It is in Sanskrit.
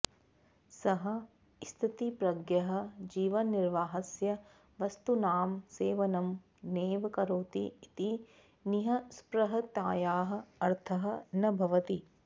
सः स्थितप्रज्ञः जीवननिर्वाहस्य वस्तूनां सेवनं नैव करोति इति निःस्पृहतायाः अर्थः न भवति